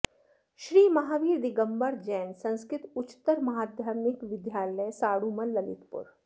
श्री महावीर दिगम्बर जैन संस्कृत उच्चतर माध्यमिक विद्यालय साढ़ूमल ललितपुर